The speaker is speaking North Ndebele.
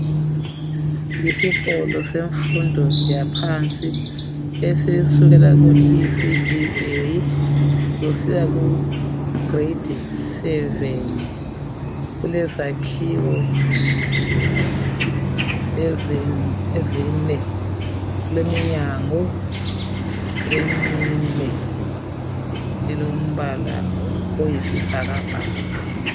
Isikolo semfundo yaphansi, esisukela ku ECD A kusiya kugrade 7. Kulezakhiwo ezine, kuleminyango emine elombala oyisibhakabhaka.